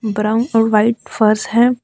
Brown और white फर्श है।